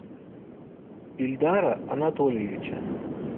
ильдара анатольевича